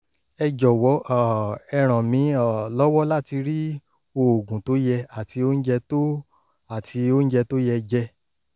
ẹ jọ̀wọ́ um ẹ ràn mí um lọ́wọ́ láti rí oògùn tó yẹ àti oúnjẹ tó àti oúnjẹ tó yẹ jẹ